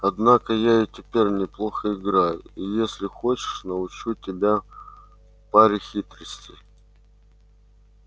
однако я и теперь неплохо играю и если хочешь научу тебя паре хитростей